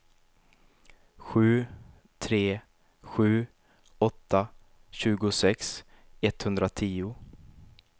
sju tre sju åtta tjugosex etthundratio